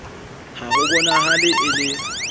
ha ho bonahale e le